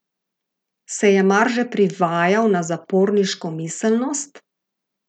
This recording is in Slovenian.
Se je mar že privajal na zaporniško miselnost?